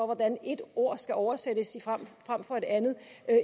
hvordan ét ord skal oversættes frem for et andet